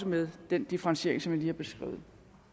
med den differentiering som jeg lige har beskrevet